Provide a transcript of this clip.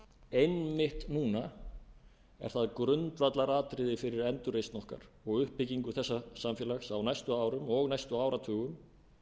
einmitt núna er það grundvallaratriði fyrir endurreisn okkar og uppbyggingu þessa samfélags að á næstu árum og næstu áratugum